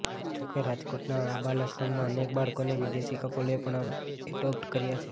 જોકે રાજકોટના આ બાલાશ્રમમાંથી અનેક બાળકોને વિદેશી કપલોએ પણ એડોપ્ટ કર્યા છે